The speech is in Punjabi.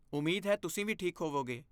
ਉਮੀਦ ਹੈ ਤੁਸੀਂ ਵੀ ਠੀਕ ਹੋਵੋਗੇ!